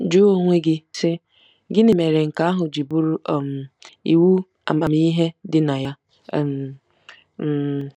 Jụọ onwe gị, sị, ‘Gịnị mere nke ahụ ji bụrụ um iwu amamihe dị na ya? um ' um